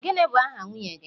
gini bu aha nwunye gi?